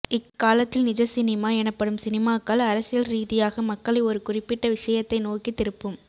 இக்காலத்தில் நிஜ சினிமா எனப்படும் சினிமாக்கள் அரசியல் ரீதியாக மக்களை ஒரு குறிப்பிட்ட விஷயத்தை நோக்கி திருப்பும்